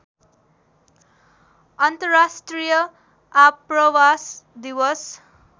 अन्तर्राष्ट्रिय आप्रवास दिवस